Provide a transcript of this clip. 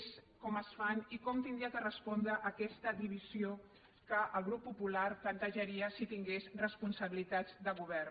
és com es fa i com hauria de respondre hi aquesta divisió que el grup popular plantejaria si tingués responsabilitats de govern